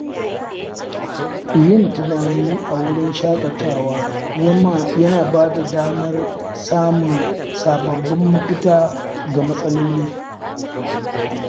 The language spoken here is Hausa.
Yin tunani a wurin shaƙatawa yana ba da damar samun sababbin mafita ga matsaloli.